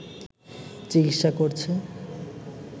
চিকিৎসা করছে